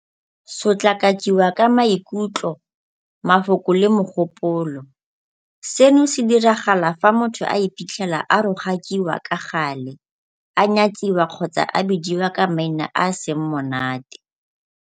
Sotlakakiwa ka maikutlo, mafoko le mogopolo - Seno se diragala fa motho a iphitlhela a rogakiwa ka gale, a nyatsiwa kgotsa a bidiwa ka maina a a seng monate.